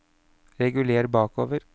reguler bakover